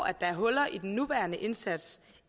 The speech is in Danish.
er huller i den nuværende indsats